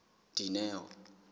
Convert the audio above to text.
dineo